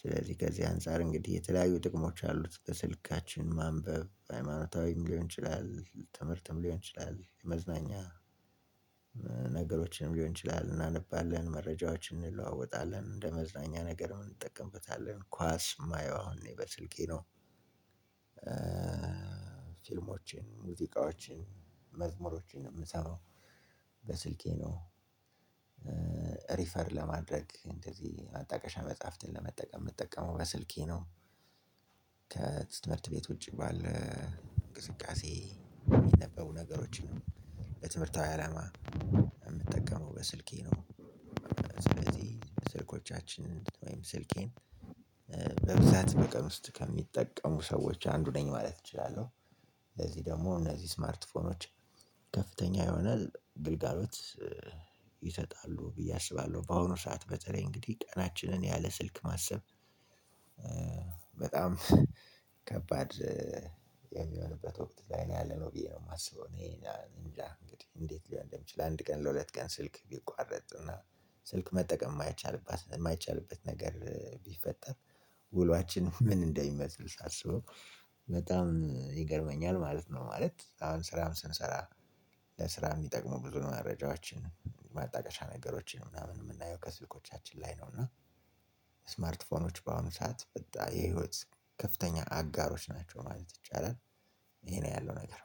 ስለዚህ ከዚህ አንፃር እንግዲህ የተለያዩ ጥቅሞች አሉት በስልካችን ማንበብ ሃይማኖታዊም ሊሆን ይችላል ትምህርትም ሊሆን ይችላል። የመዝናኛ ነገሮችንም ሊሆን ይችላል እናንባለን መረጃዎችን እንለዋወጣለን እንደ መዝናኛ ነገር እንጠቀምበታለን። ኳስ የማየው አሁን እኔ በስልኬ ነው። ፊልሞቼን ሙዚቃዎቼን መዝሙሮቼን ነው የምሰማው። በስልኬ ነው። ሪፈር ለማድረግ እንደዚህ ማጣቀሻ መጽሐፍትን ለመጠቀም የምትጠቀመው በስልኬ ነው። ከትምህርት ቤት ውጪ ባለ እንቅስቃሴ የሚነበቡ ነገሮችን ነው የትምህርታዊ አላማ የምጠቀመው በስልኬ ነው። ስለዚህ ስልኮቻችን ወይም ስልኬን በብዛት በቀን ውስጥ ከሚጠቀሙ ሰዎች አንዱ ነኝ ማለት እችላለሁ። ለዚህ ደግሞ እነዚህ ስማርትፎኖች ከፍተኛ የሆነ ግልጋሎት ይሰጣሉ ብዬ አስባለሁ። በአሁኑ ሰዓት በተለይ እንግዲህ ቀናችንን ያለ ስልክ ማሰብ በጣም ከባድ የሚሆንበት ወቅት ላይ ነው ያለነው ብዬ ነው የማስበው። እኔ እንግዲህ እንዴት ሊሆን እንደሚችል አንድ ቀን ለሁለት ቀን ስልክ ቢቋረጥና ስልክ መጠቀም የማይቻልበት የማይቻልበት ነገር ቢፈጠር ውሏችን ምን እንደሚመስል ሳስበው በጣም ይገርመኛል ማለት ነው። ማለት አሁን ስራም ስንሰራ ለስራ የሚጠቅመው ብዙ መረጃዎችን ማጣቀሻ ነገሮችን ምናምን የምናየው ከስልኮቻችን ላይ ነው። እና ስማርት ፎኖች በአሁኑ ሰዓት የህይወት ከፍተኛ አጋሮች ናቸው ማለት ይቻላል። ይሄ ነው ያለው ነገር።